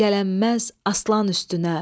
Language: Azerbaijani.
Gələnməz aslan üstünə.